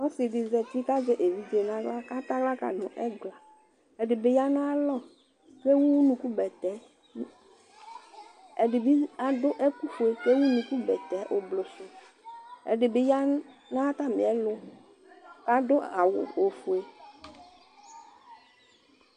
Ɔsɩ dɩ zati kʋ azɛ evidze nʋ aɣla kʋ atɛ aɣla ka nʋ ɛgla Ɛdɩ bɩ ya nʋ ayalɔ Ewu unukubɛtɛ Ɛdɩ bɩ adʋ ɛkʋfue kʋ ewu unukubɛtɛ oblo sʋ Ɛdɩ bɩ ya nʋ atamɩɛlʋ kʋ adʋ awʋ ofue